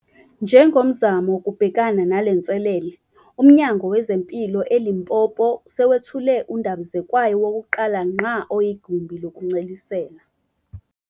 Njengomzamo wokubhekana nalenselele, uMnyango wezeMpilo eLimpopo sewethule undabizekwayo wokuqala ngqa oyigumbi lokuncelisela